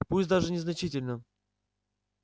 пусть даже незначительно